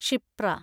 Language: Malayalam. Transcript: ക്ഷിപ്ര